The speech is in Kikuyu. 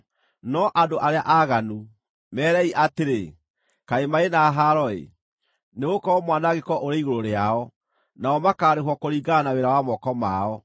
No andũ arĩa aaganu, meerei atĩrĩ: kaĩ marĩ na haro-ĩ! Nĩgũkorwo mwanangĩko ũrĩ igũrũ rĩao! Nao makaarĩhwo kũringana na wĩra wa moko mao.